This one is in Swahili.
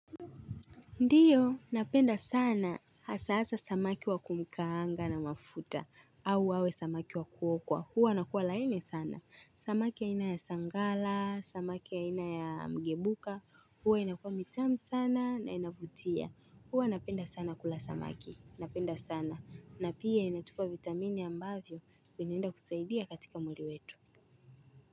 Ndiyo, napenda sana, hasa hasa samaki wa kumkaanga na mafuta, au wawe samaki wa kuokwa, huwa wanakua laini sana, samaki ya ina ya sangala, samaki aina ya mgebuka, huwa inakua mitamu sana na inavutia, huwa napenda sana kula samaki, napenda sana, na pia inatupa vitamini ambavyo, vinaenda kusaidia katika mwili wetu.